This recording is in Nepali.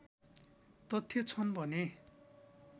तथ्य छन् भने